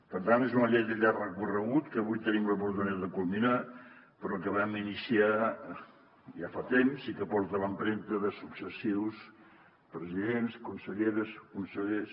per tant és una llei de llarg recorregut que avui tenim l’oportunitat de culminar però que vam iniciar ja fa temps i que porta l’empremta de successius presidents conselleres consellers